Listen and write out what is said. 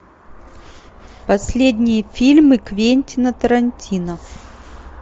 последние фильмы квентина тарантино